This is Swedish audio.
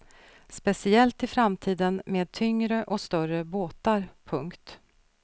Speciellt i framtiden med tyngre och större båtar. punkt